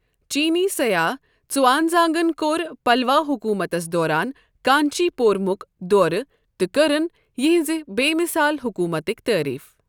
چیٖنی سیاح ژوانزانٛگن کوٚر پَلَوا حكوٗمتس دوران کانچی پورمک دورٕ تہٕ کٔرٕن یِہِنٛزِ بے مِثال حكوُمٕتٕکۍ تعریف۔